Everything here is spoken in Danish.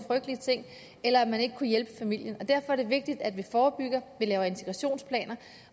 frygtelige ting eller at man ikke kunne hjælpe familien derfor er det vigtigt at vi forebygger at vi laver integrationsplaner